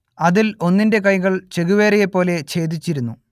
അതിൽ ഒന്നിന്റെ കൈകൾ ചെഗുവേരയെപ്പോലെ ഛേദിച്ചിരുന്നു